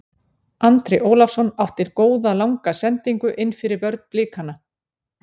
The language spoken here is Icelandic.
Andri Ólafsson átti góða langa sendingu innfyrir vörn Blikana.